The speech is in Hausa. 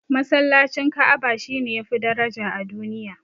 Masallacin Ka'aba shine yafi daraja a duniya